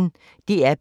DR P1